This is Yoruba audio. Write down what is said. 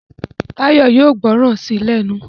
Tayo yóò gbóròn sí lénu.